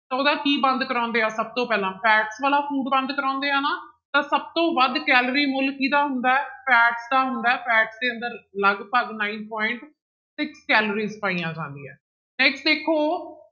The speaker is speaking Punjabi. ਤਾਂ ਉਹਦਾ ਕੀ ਬੰਦ ਕਰਵਾਉਂਦੇ ਆ ਸਭ ਤੋਂ ਪਹਿਲਾਂ fat ਵਾਲਾ food ਬੰਦ ਕਰਵਾਉਂਦੇ ਆ ਨਾ, ਤਾਂ ਸਭ ਤੋਂ ਵੱਧ ਕੈਲੋਰੀ ਮੁੱਲ ਕਿਹਦਾ ਹੁੰਦਾ ਹੈ fat ਦਾ ਹੁੰਦਾ ਹੈ fat ਦੇ ਅੰਦਰ ਲਗਪਗ nine point ਤੇ ਕੈਲਰੀਜ ਪਾਈਆਂ ਜਾਂਦੀਆਂ ਹੈ next ਦੇਖੋ